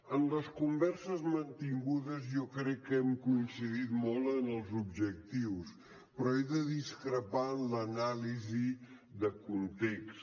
en les converses mantingudes jo crec que hem coincidit molt en els objectius però he de discrepar en l’anàlisi de context